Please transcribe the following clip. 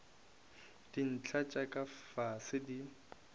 dintlha tša ka fase di